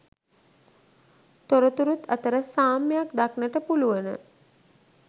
තොරතුරුත් අතර සාම්‍යක් දක්නට පුළුවන.